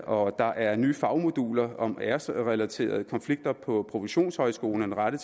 og der er nye fagmoduler om æresrelaterede konflikter på professionshøjskolerne rettet